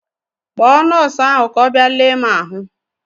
Kpọọ nọọsụ ahụ ka ọ bịa lee m ahụ!